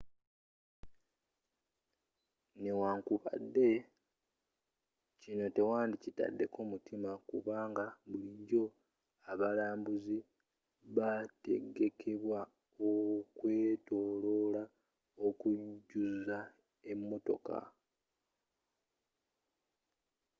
newankubadde kino tewandi kitaddeko mutima kubanga bulijjo abalambuuzi bategekebwa okwetoloola okujjuza emotoka